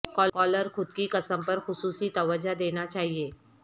collar خود کی قسم پر خصوصی توجہ دینا چاہئے